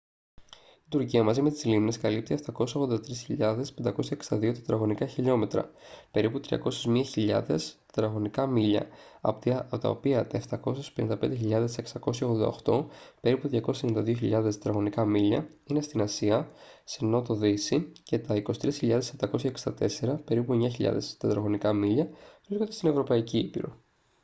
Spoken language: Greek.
η τουρκία μαζί με τις λίμνες καλύπτει 783.562 km² περίπου 301 χιλιάδες mi² από τα οποία τα 755.688 περίπου 292 χιλιάδες mi² είναι στη ασία σε νότο-δύση και τα 23.764 περίπου 9 χιλιάδες mi² βρίσκονται στην ευρωπαϊκή ήπειρο